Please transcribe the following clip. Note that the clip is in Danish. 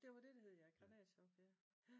Det var det det hed granatchok ja